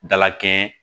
Dala kɛɲɛ